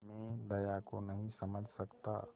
मैं दया को नहीं समझ सकता